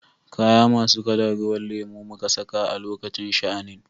Kaya masu kalan ruwan lemo muka saka a lokacin sha'anin.